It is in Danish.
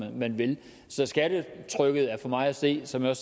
man vil så skattetrykket er for mig at se som jeg